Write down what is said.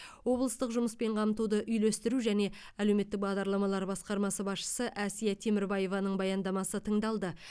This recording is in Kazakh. облыстық жұмыспен қамтуды үйлестіру және әлеуметтік бағдарламалар басқармасы басшысы әсия темірбаеваның баяндамасы тыңдалды